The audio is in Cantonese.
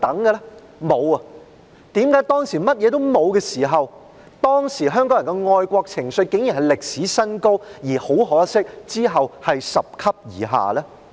為何當時甚麼也沒有，香港人的愛國情緒竟然達歷史新高，而很可惜，其後卻是拾級而下呢？